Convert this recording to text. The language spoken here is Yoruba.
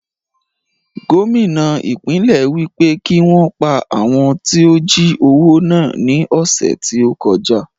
Gómìnà ìpínlẹ̀ wí pé kí wọn pa àwọn tí ó jí owó náà ní ọ̀sẹ̀ tí ó kọjá